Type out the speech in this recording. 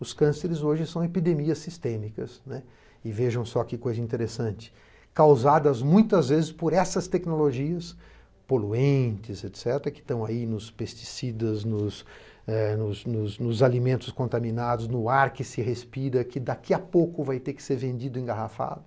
Os cânceres hoje são epidemias sistêmicas, e vejam só que coisa interessante, causadas muitas vezes por essas tecnologias poluentes, que estão aí nos pesticidas, nos alimentos contaminados, no ar que se respira, que daqui a pouco vai ter que ser vendido engarrafado.